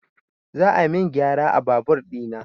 Za a min gyara a babur ɗina